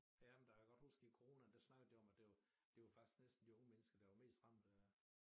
Ja men der jeg kan godt huske i coronaen der snakkede de om at det det var faktisk næsten de unge mennesker der var mest ramt af